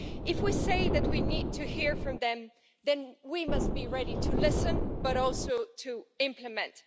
If we say that we need to hear from them, then we must be ready to listen and also to implement.